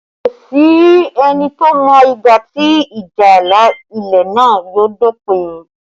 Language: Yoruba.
Kò sí ẹni tó mọ ìgbà tí ìjà ààlà ilẹ̀ náà yóò dópin